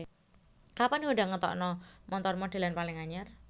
Kapan Honda ngetokno montor modelan paling anyar?